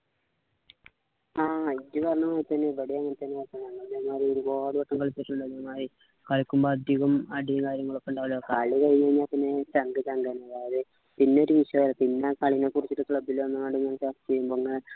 ആഹ് ഇജ്ജ് പറഞ്ഞപോലെ ഇവിടേം അങ്ങനെ തന്നെ ആക്കണ് ഒരുപാട് കളിക്കുമ്പോ അധികവും അടി കാര്യങ്ങളൊക്കെ ഉണ്ടാവല് കളി കഴിഞ്ഞു കഴിഞ്ഞാ പിന്നെ ചങ്ക് ചങ്ക് ആണ് പിന്നൊരു വിശ്വാസം പിന്നെ കളിനെ കുറിച്ചിട്ടു club ലു വന്നുഗ്ഗാണ്ട് ഞാനിപ്പോ ചർച്ച ചെയ്യുമ്പോ ഇങ്ങനെ